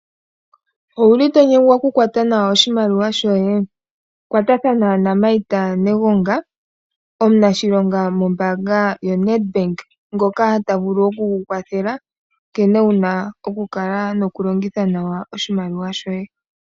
Owuli to nyengwa oku kwata nawa oshimaliwa shoye kwatathana naMartha Negonga omunashilonga mombanga yaNetbank ngoka ta vulu oku ku kwathela nkene wuna oku kala noku longitha nawa oshimaliwa shoye.